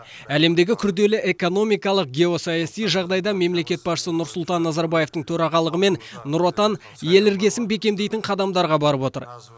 әлемдегі күрделі экономикалық геосаяси жағдайда мемлекет басшысы нұрсұлтан назарбаевтың төрағылығымен нұр отан ел іргесін бекемдейтін қадамадарға барып отыр